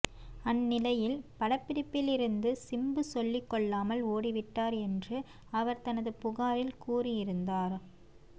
அந்நிலையில் படப்பிடிப்பிலிருந்து சிம்பு சொல்லிக்கொள்ளாமல் ஓடிவிட்டார் என்று அவர் தனது புகாரில் கூறியிருந்தார்